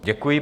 Děkuji.